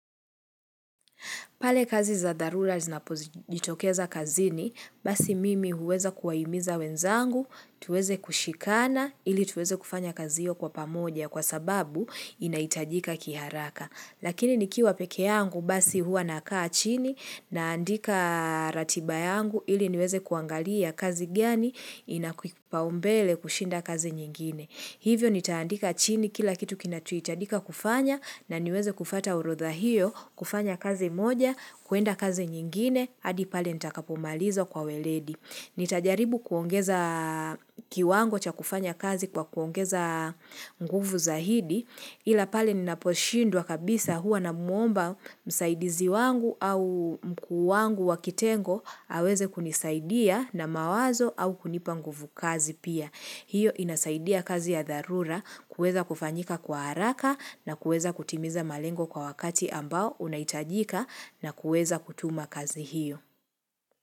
Pale kazi za dharura zinapojitokeza kazini, basi mimi huweza kuwahimiza wenzangu, tuweze kushikana ili tuweze kufanya kazi hiyo kwa pamoja kwa sababu inahitajika kiharaka. Lakini nikiwa peke yangu basi huwa nakaa chini naandika ratiba yangu ili niweze kuangalia kazi gani inakipaumbele kushinda kazi nyingine. Hivyo nitaandika chini kila kitu kinachohitajika kufanya na niweze kufata urodha hiyo, kufanya kazi moja, kuenda kazi nyingine, hadi pale nitakapomaliza kwa weledi. Nitajaribu kuongeza kiwango cha kufanya kazi kwa kuongeza nguvu zaidi, ila pale ninaposhindwa kabisa huwa namwomba msaidizi wangu au mkuu wangu wa kitengo, aweze kunisaidia na mawazo au kunipa nguvu kazi pia. Hiyo inasaidia kazi ya dharura kuweza kufanyika kwa haraka na kuweza kutimiza malengo kwa wakati ambao unaitajika na kueza kutuma kazi hiyo.